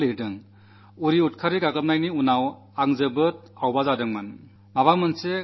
അവൻ എഴുതി ഉറിയിലെ ഭീകരാക്രമണത്തിനുശേഷം എനിക്കു വളരെ വിഷമം തോന്നി